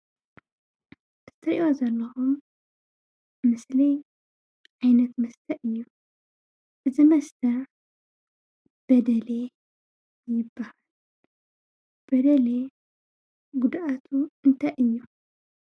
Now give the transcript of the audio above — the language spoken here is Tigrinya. እትርእዮዎ ዘለኹም ምስሊ ዓይነት መስተ እዩ። እዚ መስተ በደሌ ይባሃል። በደሌ ጉድኣቱ እንታይ እዩ?